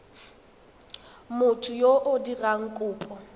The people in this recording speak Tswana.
motho yo o dirang kopo